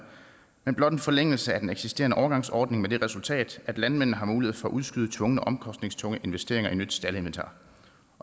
men blot en forlængelse af den eksisterende overgangsordning med det resultat at landmændene har mulighed for at udskyde tvungne omkostningstunge investeringer i nyt staldinventar